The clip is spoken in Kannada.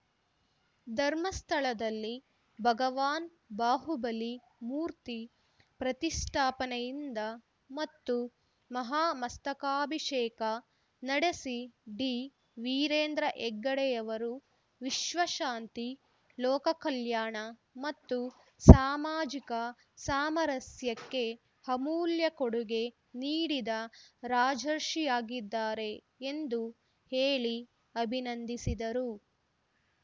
ಧರ್ಮಸ್ಥಳದಲ್ಲಿ ಭಗವಾನ್ ಬಾಹುಬಲಿ ಮೂರ್ತಿ ಪ್ರತಿಷ್ಠಾಪನೆಯಿಂದ ಮತ್ತು ಮಹಾಮಸ್ತಕಾಭಿಷೇಕ ನಡೆಸಿ ಡಿ ವೀರೇಂದ್ರ ಹೆಗ್ಗಡೆಯವರು ವಿಶ್ವಶಾಂತಿ ಲೋಕಕಲ್ಯಾಣ ಮತ್ತು ಸಾಮಾಜಿಕ ಸಾಮರಸ್ಯಕ್ಕೆ ಅಮೂಲ್ಯ ಕೊಡುಗೆ ನೀಡಿದ ರಾಜರ್ಷಿಯಾಗಿದ್ದಾರೆ ಎಂದು ಹೇಳಿ ಅಭಿನಂದಿಸಿದರು